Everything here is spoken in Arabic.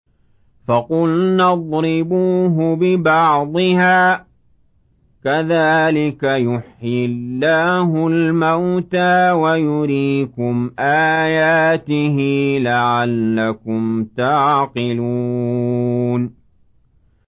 فَقُلْنَا اضْرِبُوهُ بِبَعْضِهَا ۚ كَذَٰلِكَ يُحْيِي اللَّهُ الْمَوْتَىٰ وَيُرِيكُمْ آيَاتِهِ لَعَلَّكُمْ تَعْقِلُونَ